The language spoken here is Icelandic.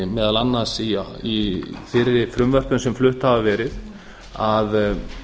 meðal annars í fyrri frumvörpum sem flutta hafa verið að